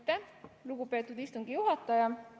Aitäh, lugupeetud istungi juhataja!